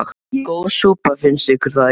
Góð súpa, finnst ykkur það ekki?